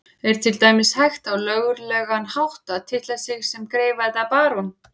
Er til dæmis hægt á löglegan hátt að titla sig sem greifa eða barón?